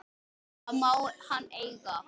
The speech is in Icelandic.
Það má hann eiga.